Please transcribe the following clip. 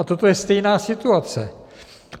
A toto je stejná situace.